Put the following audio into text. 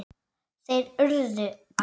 Þeir URÐU að selja.